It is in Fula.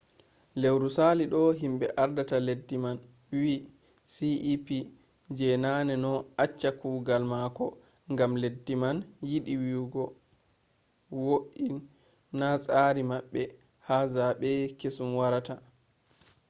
lewru sali ɗo himɓe ardata leddi man wi cep je naneno acca kugal mako gam leddi man yiɗi wo’i na tsari maɓɓe ha zaɓe kesum warata